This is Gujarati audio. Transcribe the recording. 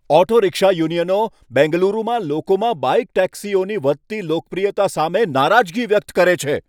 ઓટો રિક્ષા યુનિયનો બેંગલુરુમાં લોકોમાં બાઇક ટેક્સીઓની વધતી લોકપ્રિયતા સામે નારાજગી વ્યક્ત કરે છે.